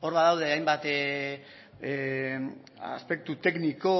hor badaude hainbat aspektu tekniko